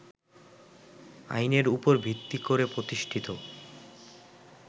আইনের উপর ভিত্তি করে প্রতিষ্ঠিত